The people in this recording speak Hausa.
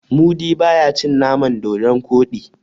mudi ba ya cin naman dodon Koɗi